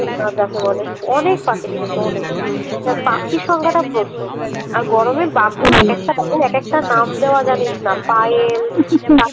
যাকে বলে অনেক পাখি দেখেছি অনেক পাখির সংখ্যাটা প্রচুর আর গরমে বাঘগুলো একেকটা একেকটা নাম দেওয়া জানিস না পায়েল তারপরে